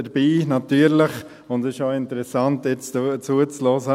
Es ist auch interessant, Ihnen zuzuhören.